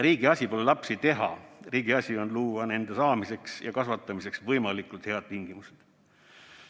Riigi asi pole lapsi teha, riigi asi on luua nende saamiseks ja kasvatamiseks võimalikult head tingimused.